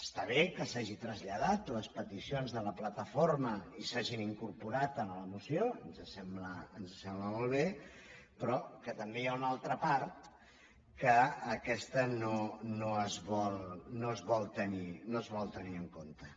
està bé que s’hagin traslladat les peticions de la plataforma i s’hagin incorporat a la moció ens sembla molt bé però que també hi ha una altra part que aquesta no es vol tenir en compte